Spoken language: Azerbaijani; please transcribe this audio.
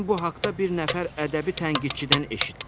Mən bu haqda bir nəfər ədəbi tənqidçidən eşitdim.